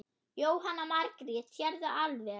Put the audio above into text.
Jóhanna Margrét: Sérðu alveg?